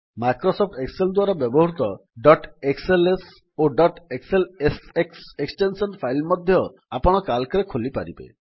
Microsoft Excel ଦ୍ୱାରା ବ୍ୟବହୃତ dot XLS ଓ ଡଟ୍ ଏକ୍ସଏଲଏସଏକ୍ସ ଏକ୍ସଟେନ୍ସନ୍ ଫାଇଲ୍ ମଧ୍ୟ ଆପଣ Calcରେ ଖୋଲିପାରିବେ